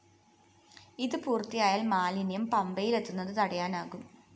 ഇത് പൂര്‍ത്തിയായാല്‍ മാലിന്യം പമ്പയിലെത്തുന്നത് തടയാനാകും